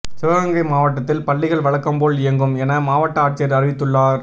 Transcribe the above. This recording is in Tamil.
சிவகங்கை மாவட்டத்தில் பள்ளிகள் வழக்கம் போல் இயங்கும் என மாவட்ட ஆட்சியர் அறிவித்துள்ளார்